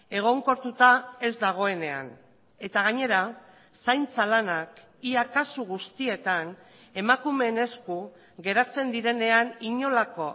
egonkortuta ez dagoenean eta gainera zaintza lanak ia kasu guztietan emakumeen esku geratzen direnean inolako